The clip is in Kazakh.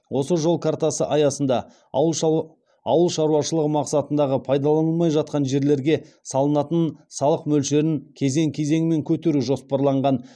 осы жол картасы аясында ауыл шаруашылығы мақсатындағы пайдаланылмай жатқан жерлерге салынатын салық мөлшерін кезең кезеңмен көтеру жоспарланған